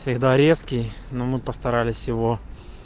всегда резкий но мы постарались его